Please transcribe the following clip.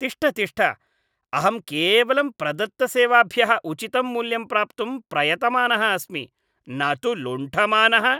तिष्ठ तिष्ठ! अहं केवलं प्रदत्तसेवाभ्यः उचितं मूल्यं प्राप्तुं प्रयतमानः अस्मि, न तु लुण्ठमानः।